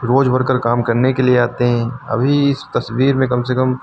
रोज worker काम करने के लिए आते हैं अभी इस तस्वीर में काम से कम--